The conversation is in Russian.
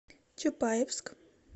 чапаевск